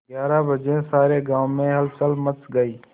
ग्यारह बजे सारे गाँव में हलचल मच गई